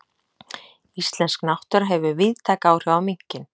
Íslensk náttúra hefur víðtæk áhrif á minkinn.